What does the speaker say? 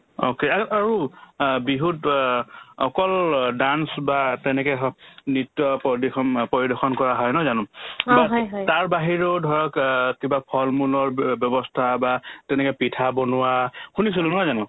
okay, আৰু আৰু অ বিহুত অ অকল dance বা তেনেকে হওক নৃত্য প্ৰদিশম অ পৰিদৰ্শন কৰা হয় নহয় জানো বা তাৰ বাহিৰেও ধৰক অ কিবা ফল-মূলৰ ব্যৱস্থা বা তেনেকে পিঠা বনোৱা শুনিছিলো নহয় জানো